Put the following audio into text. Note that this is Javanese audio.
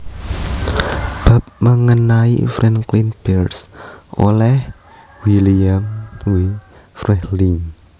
Bab mengenai Franklin Pierce oleh William W Freehling